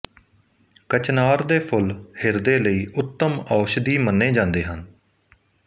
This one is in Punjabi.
ਕਚਨਾਰ ਦੇ ਫੁਲ ਹਿਰਦੇ ਲਈ ਉੱਤਮ ਔਸ਼ਧੀ ਮੰਨੇ ਜਾਂਦੇ ਹਨ